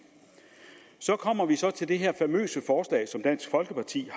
så kommer vi så til det her famøse forslag som dansk folkeparti